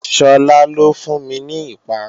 Shola ló fún mi ní ìparun